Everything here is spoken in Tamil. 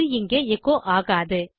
அது இங்கே எச்சோ ஆகாது